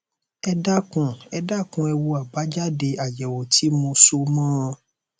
ẹ dákun ẹ dákun ẹ wo àbájáde àyẹwò tí mo so mọ ọn